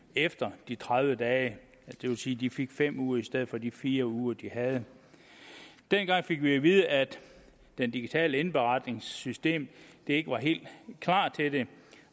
efter de tredive dage det vil sige de fik fem uger i stedet for de fire uger de havde dengang fik vi at vide at det digitale indberetningssystem ikke var helt klar til det